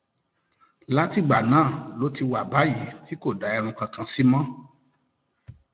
látìgbà náà ló ti wà báyìí tí kò dá irun kankan sí mọ